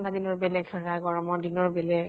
ঠান্ডা দিনৰ বেলেগ গৰমৰ দিনৰ বেলেগ